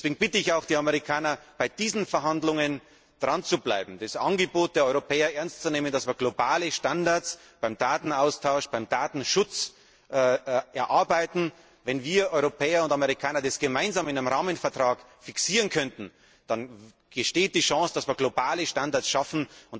Deswegen bitte ich auch die Amerikaner, bei diesen Verhandlungen dranzubleiben, das Angebot der Europäer ernst zu nehmen, dass wir globale Standards beim Datenaustausch, beim Datenschutz erarbeiten. Wenn wir Europäer und Amerikaner es gemeinsam in einem Rahmenvertrag fixieren können, dann besteht die Chance, dass wir globale Standards schaffen.